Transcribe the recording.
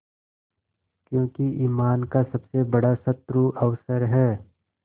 क्योंकि ईमान का सबसे बड़ा शत्रु अवसर है